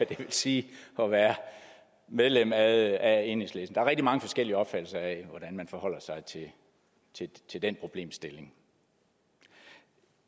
vil sige at være medlem af enhedslisten der er rigtig mange forskellige opfattelser af hvordan man forholder sig til den problemstilling